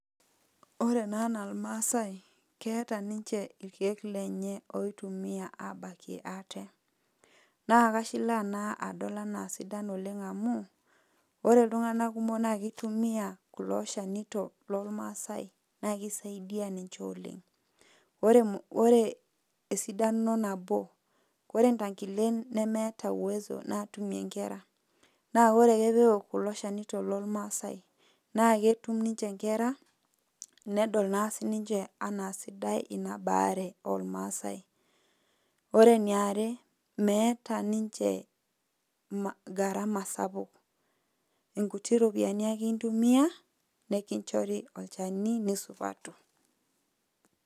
Ore naa enaa irmaasai, keeta ninche irkeek lenye oitumia abakie ate. Na kashilaa ena adol anaa sidan oleng' amu, ore iltung'anak kumok na kitumia kulo shanito lormasai, na kisaidia ninche oleng'. Ore esidano nabo, ore ntankilen nemeeta uwezo natumie nkera, na ore ake peok kulo shanito lormasai, na ketum ninche nkera, nedol na sininche anaa sidai inabaare ormaasai. Ore eniare, meeta ninche gharama sapuk. Inkuti ropiyaiani ake intumia, nikinchori olchani nisupatu.